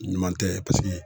Ɲuman tɛ paseke